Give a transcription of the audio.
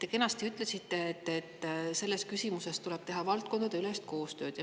Te kenasti ütlesite, et selles küsimuses tuleb teha valdkondadeülest koostööd.